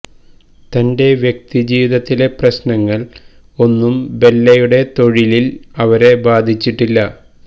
തന്റെ വ്യക്തി ജീവിതത്തിലെ പ്രശ്നങ്ങൾ ഒന്നും ബെല്ലയുടെ തൊഴിലിൽ അവരെ ബാധിച്ചിട്ടില്ല